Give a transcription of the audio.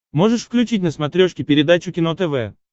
можешь включить на смотрешке передачу кино тв